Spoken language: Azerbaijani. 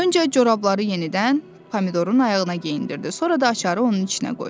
Öncə corabları yenidən Pomidorun ayağına geyindirdi, sonra da açarı onun içinə qoydu.